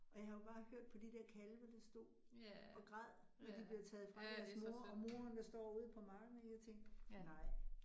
Og jeg har jo bare hørt på de der kalve, der stod og græd, når de bliver taget fra deres mor, og moren der står ude på marken, og jeg tænkte nej